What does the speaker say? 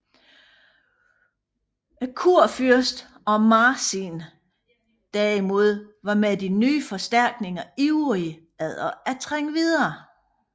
Kurfyrsten og Marsin derimod var med de nye forstærkninger ivrige efter at trænge videre